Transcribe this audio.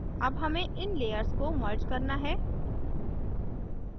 अब हमें इन layers को merge करना है